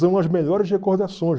São as melhores recordações.